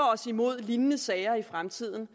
os imod lignende sager i fremtiden